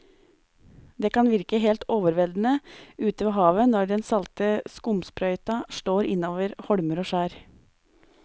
Det kan virke helt overveldende ute ved havet når den salte skumsprøyten slår innover holmer og skjær.